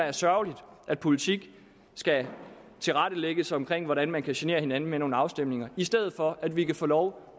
er sørgerligt at politik skal tilrettelægges omkring hvordan man kan genere hinanden med nogle afstemninger i stedet for at vi kan få lov